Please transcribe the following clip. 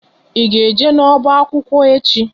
Ị ga eje n'ọba akwụkwọ echi?